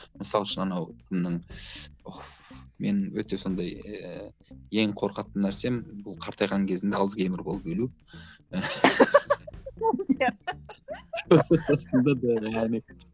мысалы үшін анау кімнің мен өте сондай ііі ең қорқатын нәрсем бұл қартайған кезімде альцгеймер болып өлу